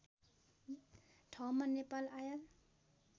ठाउँमा नेपाल आयल